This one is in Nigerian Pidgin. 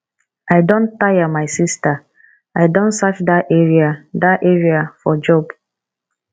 i don tire my sister i don search dat area dat area for job